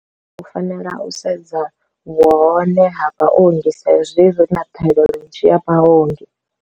U fanela u sedza vhu hone ha vhaongi sa hezwi ri na ṱhaelelo nzhi ya vhaongi.